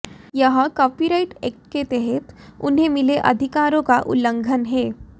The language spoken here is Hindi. यह कॉपीराइट ऐक्ट के तहत उन्हें मिले अधिकारों का उल्लंघन है